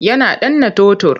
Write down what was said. Yana danna totur.